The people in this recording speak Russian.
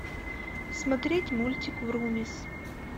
смотреть мультик врумиз